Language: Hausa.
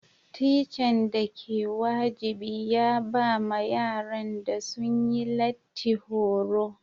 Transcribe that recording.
Tican da ke wajibi ya ba ma yaran da sun yi lati horo.